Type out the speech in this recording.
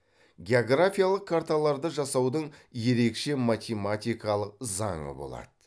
географиялық карталарды жасаудың ерекше математикалық заңы болады